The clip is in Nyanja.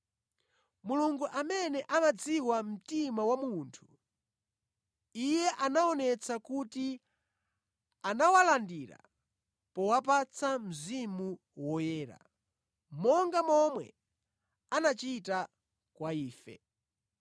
Mulungu amene amadziwa mtima wa munthu, Iye anaonetsa kuti anawalandira powapatsa Mzimu Woyera, monga momwe anachita kwa ife.